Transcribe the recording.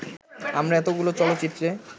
আমরা এতগুলো চলচ্চিত্রে